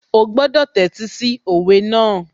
Ó gbọ́dọ̀ tẹ́tí sí òwe náà